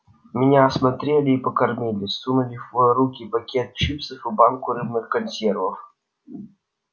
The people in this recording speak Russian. меня осмотрели и покормили сунули в руки пакет чипсов и банку рыбных консервов